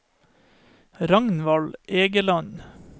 Ragnvald Egeland